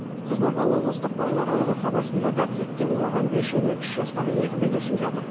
қызылорда облыстық балалар ауруханасында да биіктен құлаған бес және үш жастағы екі бүлдіршін жатыр